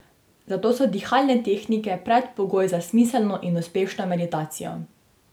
Zato so dihalne tehnike predpogoj za smiselno in uspešno meditacijo.